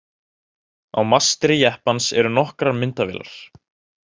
Á mastri jeppans eru nokkrar myndavélar.